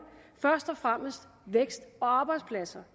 først og fremmest vækst og arbejdspladser